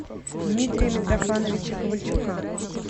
дмитрия митрофановича ковальчука